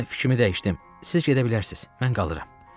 Mən fikrimi dəyişdim, siz gedə bilərsiniz, mən qalıram.